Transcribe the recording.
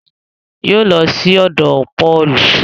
Yoo lọ sí òdò pọọlù